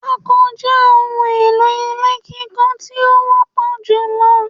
Pako je ohun èlò ilé kíkọ tí ó wọ́pọ̀ julọ